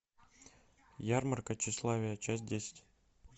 ярмарка тщеславия часть десять